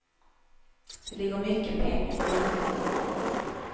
Det ligger mycket pengar i bilnumren.